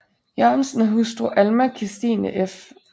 Jørgensen og hustru Alma Kirstine f